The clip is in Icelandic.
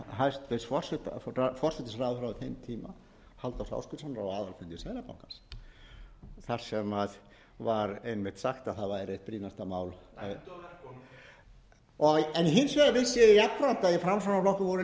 þeim tíma halldórs ásgrímssonar á aðalfundi seðlabankans þar sem var einmitt sagt að það væri eitt brýnasta mál hins vegar vissi ég jafnframt að í framsóknarflokknum voru